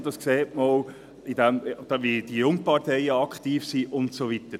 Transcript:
Dies sieht man auch daran, wie aktiv die Jungparteien sind und so weiter.